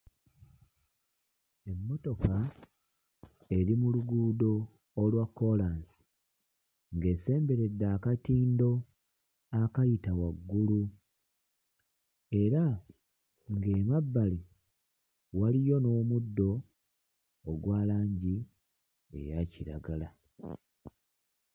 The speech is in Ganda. Emmotoka eri mu luguudo olwa kkoolansi ng'esemberedde akatindo akayita waggulu era ng'emabbali waliyo n'omuddo ogwa langi eyakiragala.